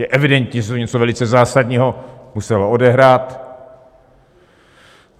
Je evidentní, že se tu něco velice zásadního muselo odehrát.